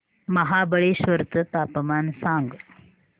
महाबळेश्वर चं तापमान सांग